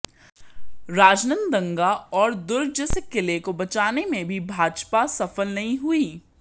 राजनांदगां और दुर्ग जैसे किले को बचाने में भी भाजपा सफल नहीं हुई